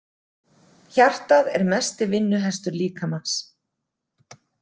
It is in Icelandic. Hjartað er mesti „vinnuhestur“ líkamans.